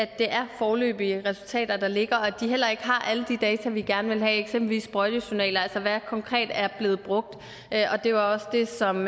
det er foreløbige resultater der ligger og at de heller ikke har alle de data vi gerne vil have eksempelvis sprøjtejournaler altså hvad der konkret er blevet brugt det var også det som